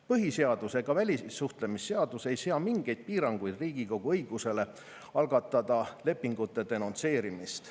Põhiseadus ega välissuhtlemisseadus ei sea mingeid piiranguid Riigikogu õigusele algatada lepingute denonsseerimist.